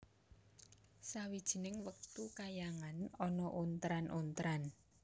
Sawijining wektu kayangan ana ontran ontran